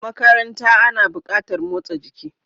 A makaranta ana buƙatar motsa jiki.